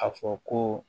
A fɔ ko